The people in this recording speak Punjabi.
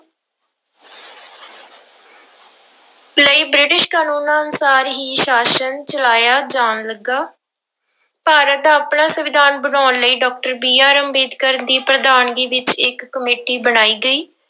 ਲਈ ਬ੍ਰਿਟਿਸ਼ ਕਾਨੂੰਨਾਂ ਅਨੁਸਾਰ ਹੀ ਸ਼ਾਸ਼ਨ ਚਲਾਇਆ ਜਾਣ ਲੱਗਾ, ਭਾਰਤ ਦਾ ਆਪਣਾ ਸੰਵਿਧਾਨ ਬਣਾਉਣ ਲਈ doctor BR ਅੰਬੇਦਕਰ ਦੀ ਪ੍ਰਧਾਨਗੀ ਵਿੱਚ ਇੱਕ ਕਮੇਟੀ ਬਣਾਈ ਗਈ।